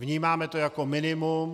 Vnímáme to jako minimum.